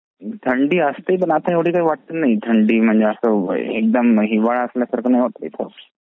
थंडी असते पण आता एवढी काही वाटत नाही थंडी म्हणजे असा एकदम हिवाळ्यसारखा नाही वाटत एकदम.